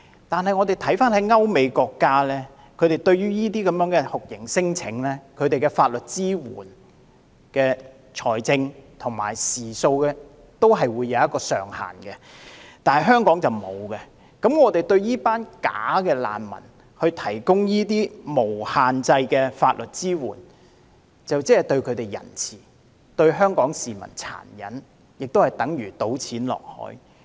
不過，我們看到歐美國家對於這些酷刑聲請的法律支援，在財政和時數方面也會設置上限，但香港卻沒有，那麼，我們為這些假難民提供無限制的法律支援，這便是對他們仁慈，但對香港市民殘忍，也等於丟錢入海。